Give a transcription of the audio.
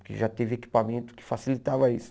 Porque já teve equipamento que facilitava isso.